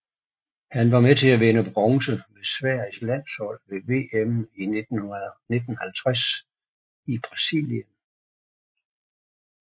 Han var med til at vinde bronze med Sveriges landshold ved VM 1950 i Brasilien